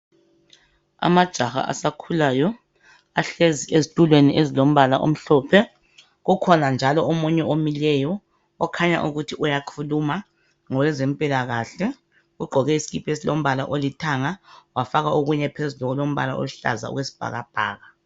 Amajaha asakhulayo ahlezi ezitulweni ezilombala omhlophe kukhona njalo omunye omileyo okhanya ukuthi uyakhuluma ngowezempilakahle, ugqoke isikipa esilombala olithanga wafaka okunye phezulu okulombala oluhlaza okwesibhakabhaka.